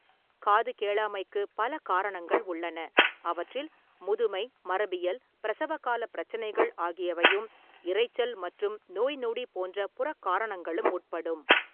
காது கேளாமைக்கு பல காரணங்கள் உள்ளன, அவற்றில் முதுமை, மரபியல், பிரசவகாலப் பிரச்சனைகள் ஆகியவையும், இரைச்சல் மற்றும் நோய்நொடி போன்ற புறக் காரணங்களும் உட்படும்.